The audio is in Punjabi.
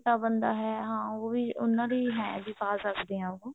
ਬੰਦਾ ਹੈ ਹਾਂ ਉਹ ਵੀ ਉਹਨਾ ਦੀ ਹੈ ਵੀ ਪਾ ਪਾ ਸਕਦੇ ਹਾਂ ਉਹ